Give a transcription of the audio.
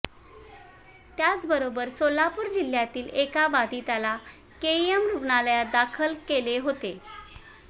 त्याचबरोबर सोलापूर जिल्ह्यातील एका बाधिताला केईएम रुग्णालयात दाखल केले होते